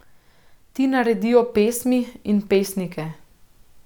Ti naredijo pesmi in pesnike.